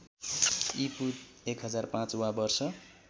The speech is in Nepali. ईपू १००५ वा वर्ष